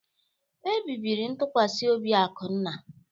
Ebibiri ntụkwasị obi Akunna.